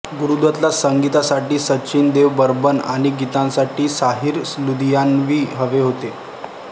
गुरुदत्तला संगीतासाठी सचिनदेव बर्मन आणि गीतांसाठी साहिर लुधियानवी हवे होते